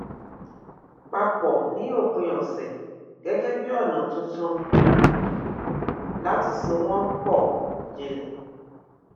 pa pọ ní òpin ọsẹ gẹgẹ bí ọnà tuntun um láti so wọn pọ jinlẹ